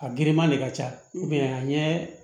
A giriman de ka ca a ɲɛ